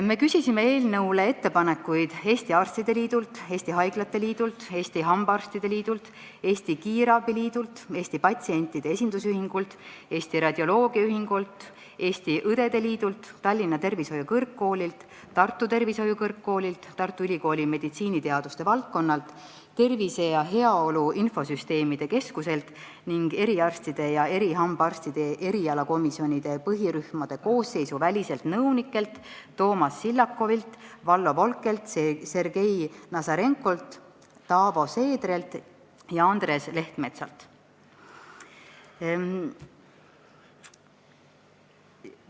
Me küsisime eelnõu kohta ettepanekuid Eesti Arstide Liidult, Eesti Haiglate Liidult, Eesti Hambaarstide Liidult, Eesti Kiirabi Liidult, Eesti Patsientide Esindusühingult, Eesti Radioloogia Ühingult, Eesti Õdede Liidult, Tallinna Tervishoiu Kõrgkoolilt, Tartu Tervishoiu Kõrgkoolilt, Tartu Ülikooli meditsiiniteaduste valdkonnalt, Tervise ja Heaolu Infosüsteemide Keskuselt ning eriarstide ja erihambaarstide erialakomisjonide põhirühmade koosseisuvälistelt nõunikelt Toomas Sillakivilt, Vallo Volkelt, Sergei Nazarenkolt, Taavo Seedrelt ja Andres Lehtmetsalt.